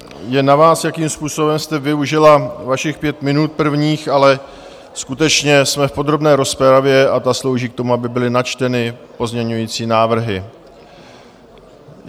Je na vás, jakým způsobem jste využila svých pět minut, prvních, ale skutečně, jsme v podrobné rozpravě a ta slouží k tomu, aby byly načteny pozměňovací návrhy.